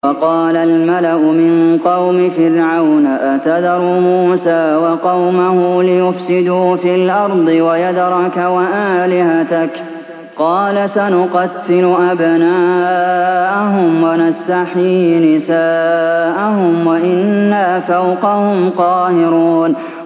وَقَالَ الْمَلَأُ مِن قَوْمِ فِرْعَوْنَ أَتَذَرُ مُوسَىٰ وَقَوْمَهُ لِيُفْسِدُوا فِي الْأَرْضِ وَيَذَرَكَ وَآلِهَتَكَ ۚ قَالَ سَنُقَتِّلُ أَبْنَاءَهُمْ وَنَسْتَحْيِي نِسَاءَهُمْ وَإِنَّا فَوْقَهُمْ قَاهِرُونَ